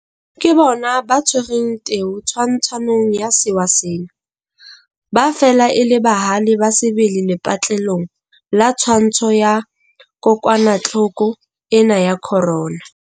Ke bona ba tshwereng teu twantshong ya sewa sena. Ba fela e le bahale ba sebele lepatlelong la twantsho ya kokwanahloko ena ya corona.